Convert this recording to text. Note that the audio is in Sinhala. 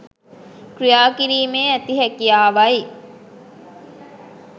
ක්‍රියාකිරීමේ ඇති හැකියාවයි.